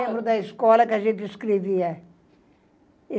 Eu lembro da escola que a gente escrevia.